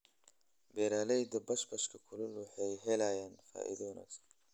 Beeralayda basbaaska kulul waxay helayaan faa'iido wanaagsan.